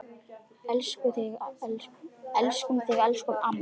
Elskum þig, elsku amma.